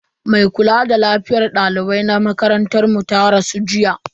Mai kula a lafiyar dalibai na makarantar mu ta rasu jiya.